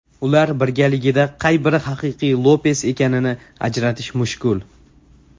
Ular birgaligida qay biri haqiqiy Lopes ekanini ajratish mushkul.